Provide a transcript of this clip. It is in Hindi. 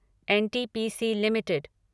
NTPC limited